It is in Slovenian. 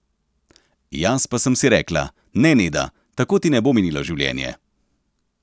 Jaz pa sem si rekla: 'Ne, Neda, tako ti ne bo minilo življenje.